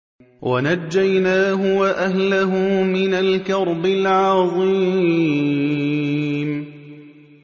وَنَجَّيْنَاهُ وَأَهْلَهُ مِنَ الْكَرْبِ الْعَظِيمِ